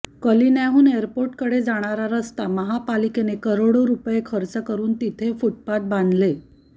कलिन्याहून एअरपोर्टकडे जाणारा रस्ता महापालिकेने करोडो रुपये खर्च करून तिथे फुटपाथ बांधले